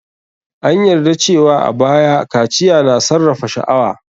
An yarda cewa a baya, kaciya na sarrafa sha'awa.